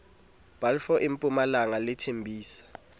balfour e mpumalanga le thembisa